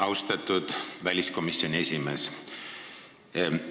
Austatud väliskomisjoni esimees!